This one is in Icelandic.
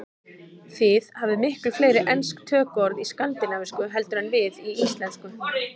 Þið hafið miklu fleiri ensk tökuorð í skandinavísku heldur en við í íslensku.